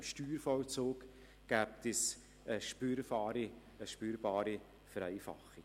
Im Steuervollzug käme es dadurch zu einer spürbaren Vereinfachung.